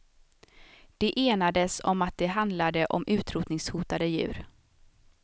De enades om att det handlade om utrotningshotade djur.